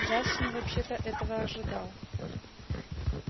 джастин вообще-то этого ожидал